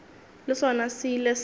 le sona se ile sa